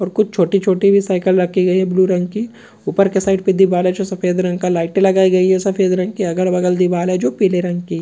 और कुछ छोटी-छोटी साइकिल भी रखी गई है ब्लू रंग की ऊपर की साइड में दीवारें जो सफेद रंग का लाइट लगाई गई है सफेद रंग की अगल-बगल दीवारें जो पीले रंग की--